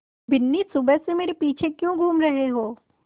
बिन्नी सुबह से मेरे पीछे क्यों घूम रहे हो